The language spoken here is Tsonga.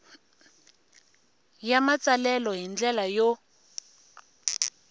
ya matsalelo hi ndlela yo